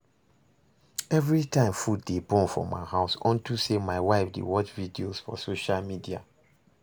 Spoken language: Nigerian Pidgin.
Everytime food dey burn for my house unto say my wife dey watch videos for social media